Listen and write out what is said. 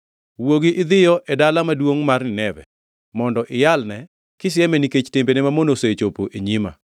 “Wuogi idhiyo e dala maduongʼ mar Nineve, mondo iyalne kisieme nikech timbene mamono osechopo e nyima.”